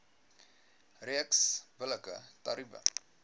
reeks billike tariewe